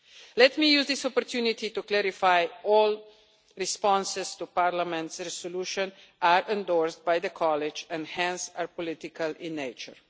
Let me use this opportunity to clarify that all responses to Parliament's resolution are endorsed by the College and hence are political in nature.